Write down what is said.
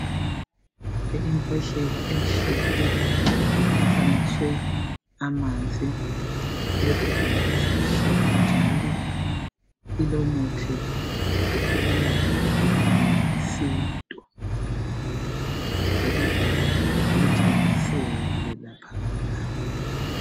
Imbodlela emhlophe, efanekiswe amanzi, ilesivali esimhlophe njalo ilomuthi wokwelapha ngesintu. Ibizo lawo litshengiselwe laphana.